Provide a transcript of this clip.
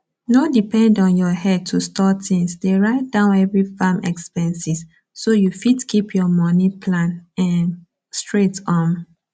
no depend on your headto store tins dey write down every farm expenses so you fit keep your money plan um straight um